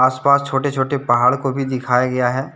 उस पार छोटे-छोटे पहाड़ को भी दिखाया गया है।